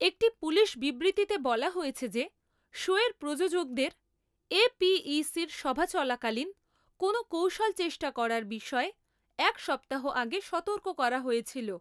একটি পুলিশ বিবৃতিতে বলা হয়েছে যে শোয়ের প্রযোজকদের এপিইসির সভা চলাকালীন কোনও কৌশল চেষ্টা করার বিষয়ে এক সপ্তাহ আগে সতর্ক করা হয়েছিল।